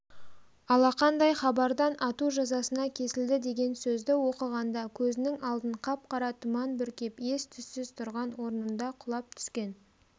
алақандай хабардан ату жазасына кесілді деген сөзді оқығанда көзінің алдын қап-қара тұман бүркеп ес-түссіз тұрған орнында құлап түскен